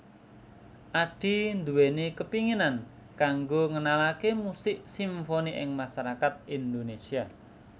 Addie nduweni kepinginan kanggo ngenalaké musik simfoni ing masarakat Indonésia